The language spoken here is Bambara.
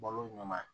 Balo ɲuma